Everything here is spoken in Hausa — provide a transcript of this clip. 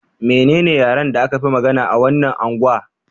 Menene yaren da aka fi magana a wannan angwa?